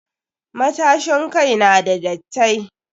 Matashin kai n da dattai.